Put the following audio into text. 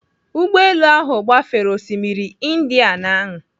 Ụgbọelu ahụ gbafere osimiri Indian ahụ.